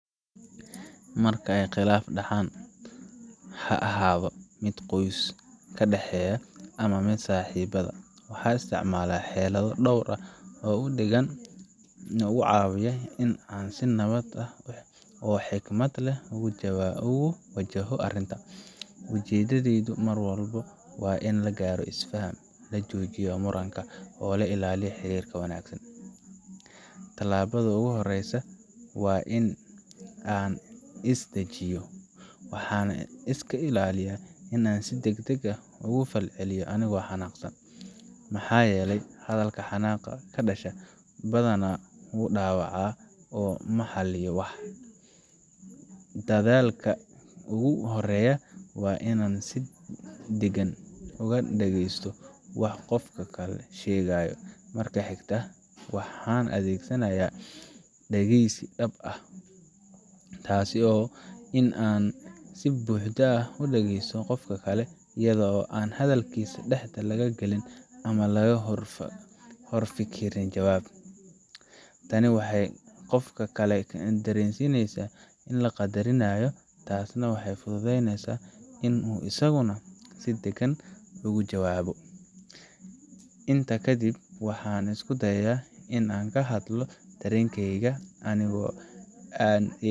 Marka ay khilaaf dhacaan, ha ahaado mid qoyska dhexdiisa ah ama saaxiibada, waxaan isticmaalaa xeelado dhowr ah oo degan oo igu caawiya in aan si nabad ah oo xikmad leh ugu wajaho arrinta. Ujeedadaydu mar walba waa in la gaaro is faham, la joojiyo muranka, oo la ilaaliyo xiriirka wanaagsan. Talaabada ugu horreysa waa in aan is dejiyo. Waxaan iska ilaaliyaa in aan si degdeg ah uga falceliyo anigoo xanaaqsan, maxaa yeelay hadalka xanaaqa ka dhasha badanaa wuu dhaawacaa oo ma xalliyo wax. Dedaalka ugu horeeya waa inaan si deggan u dhageysto waxa qofka kale sheegayo. Marka xigta, waxaan adeegsanayaa dhageysi dhab ah taasoo ah in aan si buuxda u dhagaysto qofka kale, iyada oo aan hadalkiisa dhexda laga galin ama laga horfikirin jawaab. Tani waxay qofka kale dareensiinaysaa in la qadarinayo, taasna waxay fududeysaa in uu isaguna si degan uga jawaabo. Intaa kadib, waxaan isku dayaa in aan ka hadlo dareenkayga anigoo aan.